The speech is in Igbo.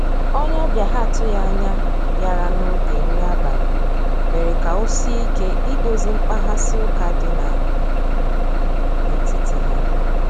onye obia ha atughi anya biara na oge nri abali mere ka osie ike idozi mkpaghasi uka di na etiti ha.